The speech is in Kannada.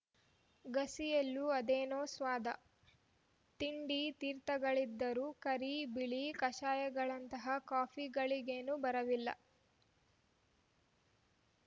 ಗಸಿಯಲ್ಲೂ ಅದೇನೋ ಸ್ವಾದ ತಿಂಡಿತೀರ್ಥಗಳಿದ್ದರೂ ಕರಿಬಿಳಿಕಷಾಯಗಳಂತಹ ಕಾಫಿಗಳಿಗೇನು ಬರವಿರಲಿಲ್ಲ